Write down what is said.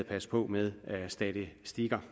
passe på med statistikker